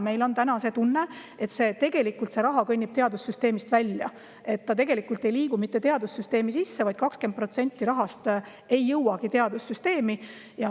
Meil on tunne, et tegelikult see raha kõnnib teadussüsteemist välja, et see ei liigu teadussüsteemi, 20% rahast ei jõuagi teadussüsteemi.